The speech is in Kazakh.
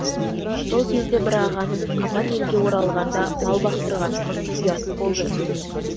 сол кезде бір ағаның қапан елге оралғанда мал бақтырғанымыз ұят болды